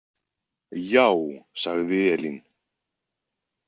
Já, sagði Elín.